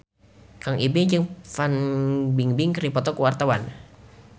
Kang Ibing jeung Fan Bingbing keur dipoto ku wartawan